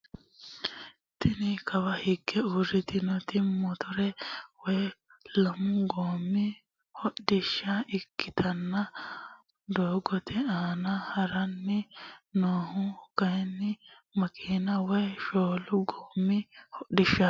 Tini kawa higge urritinnoti motore woy lamu goommi hodhishsha ikkitanna doogote aana haranni noohu kayini makina woy shoolu goommi hodhishshati.